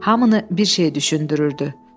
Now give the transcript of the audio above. Hamını bir şey düşündürürdü.